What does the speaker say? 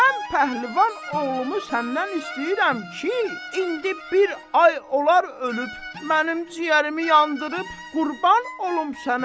Mən pəhlivan oğlumu səndən istəyirəm ki, indi bir ay olar ölüb mənim ciyərimi yandırıb qurban olum sənə.